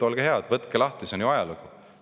Olge head, võtke lahti, see on ju ajalugu.